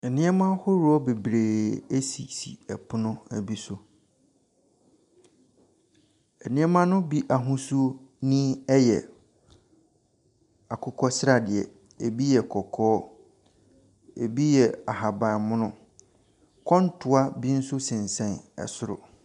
Nneɛma ahoroɔ bebree sisi pono bi so. Nneɛma no bi ahosuo ni yɛ akokɔ sradeɛ, ebi yɛ kɔkɔɔ, ebi yɛ ahaban mono. Kɔntoa bi nso sensɛn soro.